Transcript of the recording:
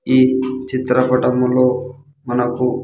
ఈ చిత్ర పటములో మనకు.